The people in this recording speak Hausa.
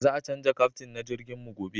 Za a canja kaftin na jirgin mu gobe